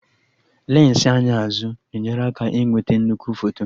Lensị anya azụ na-enyere aka ịnweta nnukwu foto